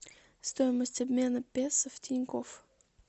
стоимость обмена песо в тинькофф